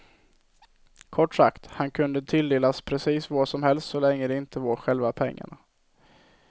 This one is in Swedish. Kort sagt, han kunde tilldelas precis vad som helst så länge det inte var själva pengarna.